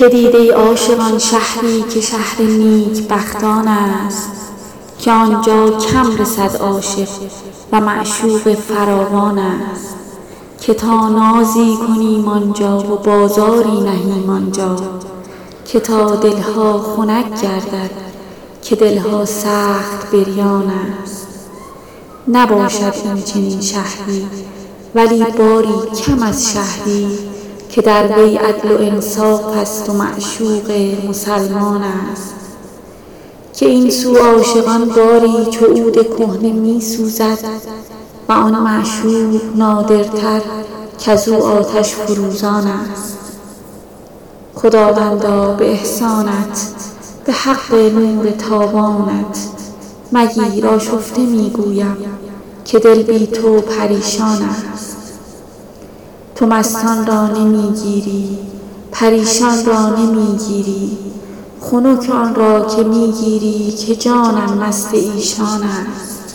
که دید ای عاشقان شهری که شهر نیکبختانست که عاشق کم رسد آنجا و معشوقش فراوانست که تا نازی کنیم آن جا و بازاری نهیم آن جا که تا دل ها خنک گردد که دل ها سخت بریانست نباشد این چنین شهری ولی باری کم از شهری که در وی عدل و انصافست و معشوق مسلمانست که این سو عاشقان باری چو عود کهنه می سوزد و آن معشوق نادرتر کز او آتش فروزانست خداوندا به احسانت به حق لطف و اکرامت مگیر آشفته می گویم که جان بی تو پریشانست تو مستان را نمی گیری پریشان را نمی گیری خنک آن را که می گیری که جانم مست ایشانست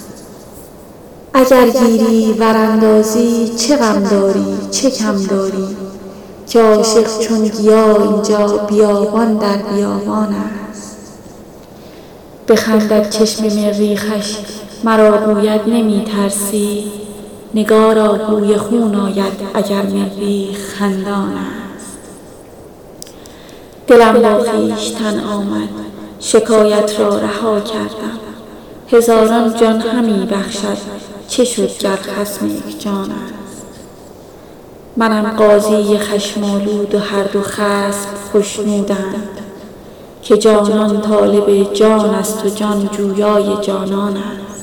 اگر گیری ور اندازی چه غم داری چه کم داری که عاشق هر طرف این جا بیابان در بیابانست بخندد چشم مریخش مرا گوید نمی ترسی نگارا بوی خون آید اگر مریخ خندانست دلم با خویشتن آمد شکایت را رها کردم هزاران جان همی بخشد چه شد گر خصم یک جانست منم قاضی خشم آلود و هر دو خصم خشنودند که جانان طالب جانست و جان جویای جانانست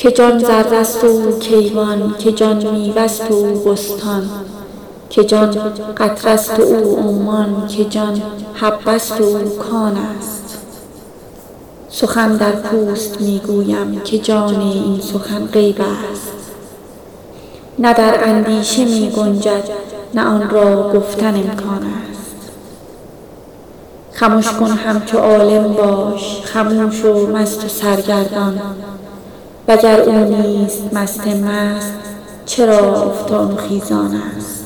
که جان ذره ست و او کیوان که جان میوه ست و او بستان که جان قطره ست و او عمان که جان حبه ست و او کانست سخن در پوست می گویم که جان این سخن غیبست نه در اندیشه می گنجد نه آن را گفتن امکانست خمش کن همچو عالم باش خموش و مست و سرگردان وگر او نیست مست مست چرا افتان و خیزانست